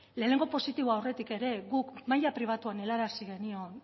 lehenengo positibo aurretik ere guk maila pribatuan helarazi genion